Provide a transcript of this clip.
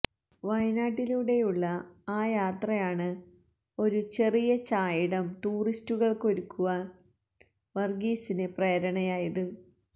വയനാട്ടിലൂടെയുള്ള ആ യാത്രയാണ് ഒരു ചെറിയ ചായിടം ടൂറിസ്റ്റുകൾക്കൊരുക്കാനായി വർഗീസിന് പ്രേരണയായത്